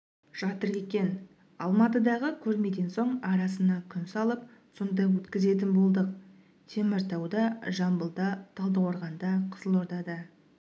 жатыр екен алматыдағы көрмеден соң арасына күн салып сонда өткізетін болдық теміртауда жамбылда талдықорғанда қызылордада